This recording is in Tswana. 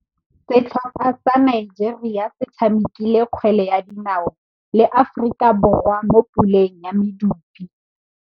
Setlhopha sa Nigeria se tshamekile kgwele ya dinaô le Aforika Borwa mo puleng ya medupe.